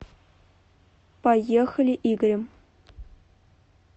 поехали игрем